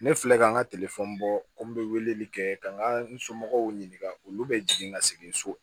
Ne filɛ ka n ka bɔ ko n bɛ weleli kɛ ka n ka n somɔgɔw ɲininka olu bɛ jigin ka segin so